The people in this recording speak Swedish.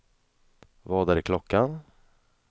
Vad är klockan